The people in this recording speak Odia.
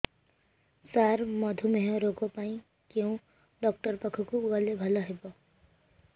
ସାର ମଧୁମେହ ରୋଗ ପାଇଁ କେଉଁ ଡକ୍ଟର ପାଖକୁ ଗଲେ ଭଲ ହେବ